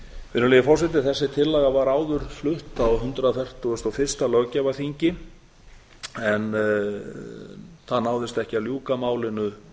virðulegi forseti þessi tillaga vart áður flutt á hundrað fertugasta og fyrsta löggjafarþingi en það náðist ekki að ljúka málinu